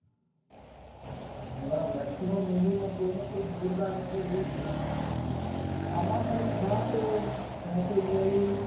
એના maximum movie માં કોયના કોઈ જોરદાર message હોય છે આમાં કંઈક ખાશ એવો મેસેજ મળી